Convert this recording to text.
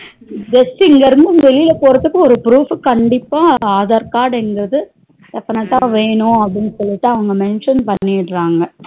Just இங்க இருந்து வெளிய போறதுக்கு ஒரு proof கண்டிப்பா aadhar card என்பது definite டா வேணும் அப்டினு சொல்லிட்டு mention பண்ணிடறாங்க